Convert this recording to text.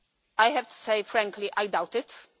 I have to say, frankly, I doubt that.